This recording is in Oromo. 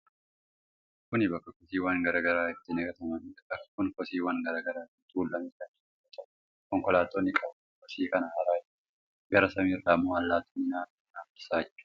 Kun bakka kosiiwwan garaa garaa itti gatamaniidha. Bakki kun kosiiwwan garaa garaatiin tuulame kan jiru yoo ta'u, Konkolaattonni qabanii kosii kana haraa jiru. Gara samiirra ammoo allaattonni naannoo kana marsaa jiru.